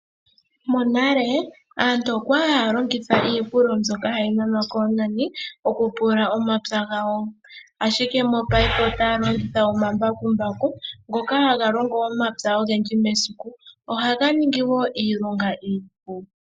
Monale aantu okwali haya longitha iipululo mbyoka hayi nanwa koonani, oku pulula omapya gawo. Ashike mopayife, otaya longitha omambakumbaku ngoka haga longo omapya ogendji mesiku. Ohaga ningi wo iilonga iipu.